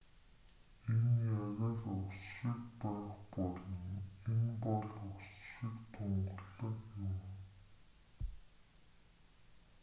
энэ яг л ус шиг байх болно энэ бол ус шиг тунгалаг юм